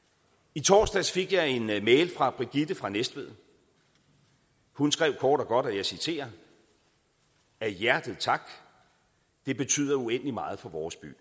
i torsdags fik jeg en mail fra brigitte fra næstved hun skrev kort og godt og jeg citerer af hjertet tak det betyder uendelig meget for vores by